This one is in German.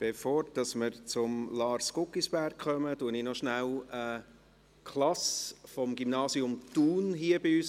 Bevor wir zu Lars Guggisberg kommen, begrüsse ich noch kurz eine Klasse des Gymnasiums Thun.